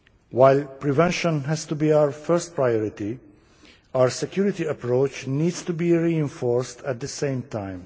While prevention has to be our first priority, our security approach needs to be reinforced at the same time.